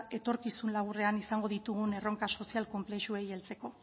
etorkizun laburrean izango ditugun erronka sozial konplexuei heltzeko